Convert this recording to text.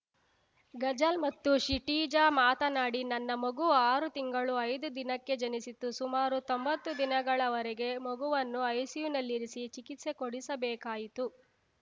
ಗಜಲ್‌ ಮತ್ತು ಶಿಟಿಜಾ ಮಾತನಾಡಿ ನನ್ನ ಮಗು ಆರು ತಿಂಗಳುಐದು ದಿನಕ್ಕೆ ಜನಿಸಿತು ಸುಮಾರು ತೊಂಬತ್ತು ದಿನಗಳ ವರೆಗೆ ಮಗುವನ್ನು ಐಸಿಯುನಲ್ಲಿರಿಸಿ ಚಿಕಿತ್ಸೆ ಕೊಡಿಸಬೇಕಾಯಿತು